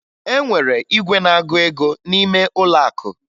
E nwere igwe na-agụ ego n'ime ụlọ akụ